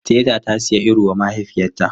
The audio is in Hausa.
Teetea ta siya iru wa mahaifiyarta.